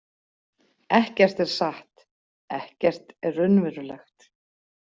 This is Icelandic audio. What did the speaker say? Ekkert er satt, ekkert er raunverulegt.